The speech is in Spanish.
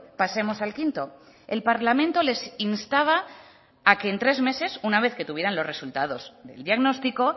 pasemos al quinto el parlamento les instaba a que en tres meses una vez que tuvieran los resultados del diagnóstico